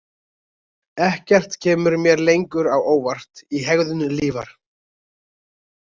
Ekkert kemur mér lengur á óvart í hegðun Lífar.